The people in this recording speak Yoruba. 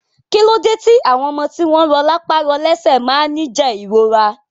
Kílode ti àwọn ọmọ tí wọn rọ lápá rọ lẹsẹ máa ni jẹ ìrora?